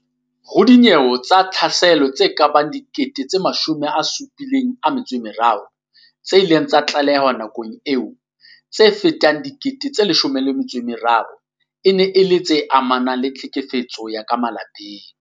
Ho dinyewe tsa tlhaselo tse kabang 73 000 tse ileng tsa tlalehwa nakong eo, tse fetang 13000 e ne e le tse amanang le tlhekefetso ya ka malapeng.